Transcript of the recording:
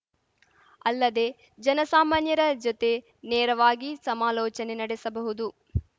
ಅಲ್ಲದೆ ಜನಸಾಮಾನ್ಯರ ಜೊತೆ ನೇರವಾಗಿ ಸಮಾಲೋಚನೆ ನಡೆಸಬಹುದು